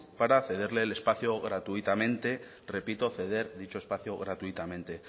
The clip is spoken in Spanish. para cederle el espacio gratuitamente repito ceder dicho espacio gratuitamente